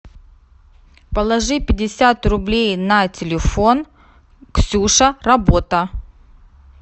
положи пятьдесят рублей на телефон ксюша работа